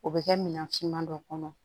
O bɛ kɛ minan finman dɔ kɔnɔ